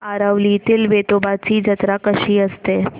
आरवलीतील वेतोबाची जत्रा कशी असते